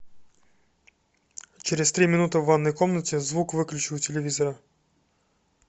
через три минуты в ванной комнате звук выключи у телевизора